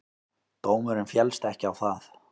Dómurinn féllst ekki á það.